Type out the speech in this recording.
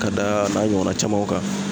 Ka da a n'a ɲɔgɔnna camanw kan